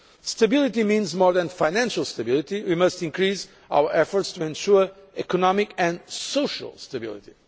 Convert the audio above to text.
Stability means more than financial stability. We must increase our efforts to ensure economic and social stability.